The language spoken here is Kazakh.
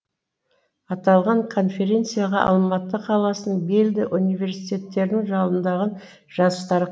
аталған конференцияға алматы қаласының белді университеттерінің жалындаған жастары